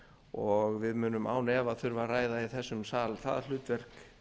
og við munum án efa þurfa að ræða í þessum sal það hlutverk